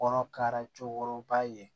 Kɔnɔkara cɛkɔrɔba ye